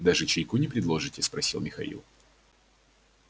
даже чайку не предложите спросил михаил